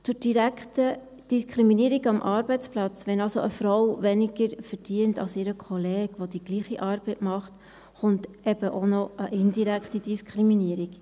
Zur direkten Diskriminierung am Arbeitsplatz, wenn also eine Frau weniger verdient als ihr Kollege, der die gleiche Arbeit macht, kommt eben auch noch eine indirekte Diskriminierung.